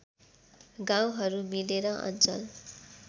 गाउँहरू मिलेर अञ्चल